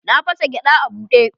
Na fasa gyada a bude.